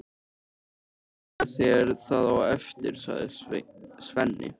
Ég skal sýna þér það á eftir, sagði Svenni.